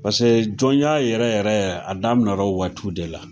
Pase jɔnya yɛrɛ yɛrɛ a daminɛ na o waatiw de la.